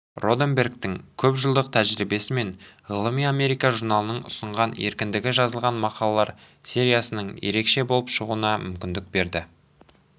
роденбергтің көпжылдық тәжірибесі мен ғылыми америка журналының ұсынған еркіндігі жазылған мақалалар сериясының ерекше болып шығуына мүмкіндік берді